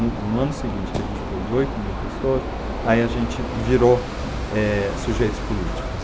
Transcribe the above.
No ano seguinte, que a gente pôs oito mil pessoas, aí a gente virou, eh, sujeitos políticos.